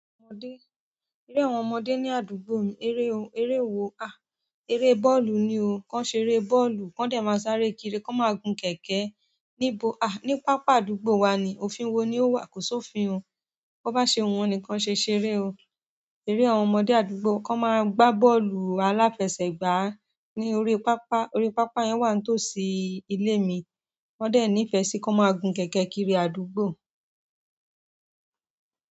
Eré àwọn ọmọdé ní àdúgbò mi, eré wo a, eré bọ́ọ̀lù ni o. Kan ṣeré bọ́ọ̀lù kan dẹ̀ má sáré kiri, kan máa gun kẹ̀kẹ́ ni bo a, ní pápá àdúgbò wa ni. Òfin wo ni o wà, kò sí òfin o. Bó bá ṣe wù wọ́n ni kan ṣe ṣere o. Eré àwọn ọmọdé àdúgbò, kan má gba bọ́ọ̀lù aláfẹsẹ̀gbá ní orí pápá. Orí pápá yẹn wà ń to sí ilé mi. Wọ́n dẹ̀ nifẹ sí, kan má gun kẹ̀kẹ́ kiri àdúgbò.